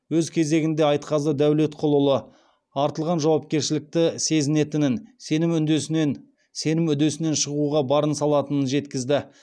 өз кезегінде айтқазы дәулетқұлұлы артылған жауапкершілікті сезінетінін сенім үдесінен шығуға барын салатынын жеткізді